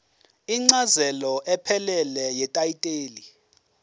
incazelo ephelele yetayitela